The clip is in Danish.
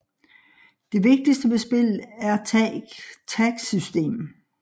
Det vigtigste ved spillet er tag system